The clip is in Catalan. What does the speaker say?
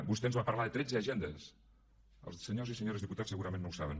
vostè ens va parlar de tretze agendes els senyors i senyores diputats segurament no ho saben